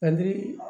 Ani